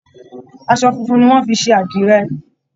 Aṣọ funfun nì wọn fí ṣe àdirẹ.